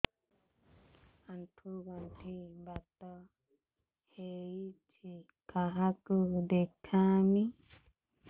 ଆଣ୍ଠୁ ଗଣ୍ଠି ବାତ ହେଇଚି କାହାକୁ ଦେଖାମି